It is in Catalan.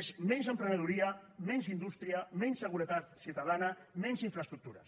és menys emprenedoria menys indústria menys seguretat ciutadana menys infraestructures